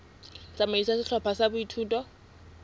tsamaiso ya sehlopha sa boithuto